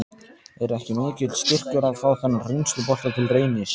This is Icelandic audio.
Er ekki mikill styrkur að fá þennan reynslubolta til Reynis?